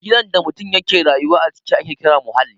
Gidan da mutum ya ke rayuwa a ciki ake kira muhalli